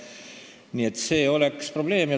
Nii et see oleks probleem.